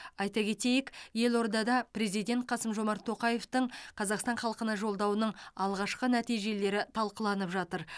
айта кетейік елордада президент қасым жомарт тоқаевтың қазақстан халқына жолдауының алғашқы нәтижелері талқыланып жатыр